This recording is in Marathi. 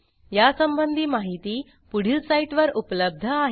यासंबंधी माहिती पुढील साईटवर उपलब्ध आहे